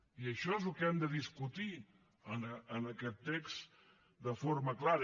i això és el que hem de discutir en aquest text de forma clara